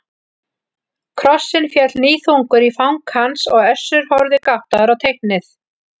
Krossinn féll níðþungur í fang hans og Össur horfði gáttaður á teiknið.